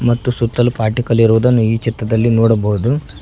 ಮತ್ತು ಸುತ್ತಲು ಪಾರ್ಟಿಕಲ್ ಇರುವುದನ್ನು ಈ ಚಿತ್ರದಲ್ಲಿ ನೋಡಬಹುದು.